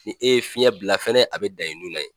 Ni e ye fiɲɛ bila fɛnɛ a be dan e nun na yen